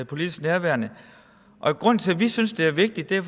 politisk nærværende grunden til at vi synes det er vigtigt er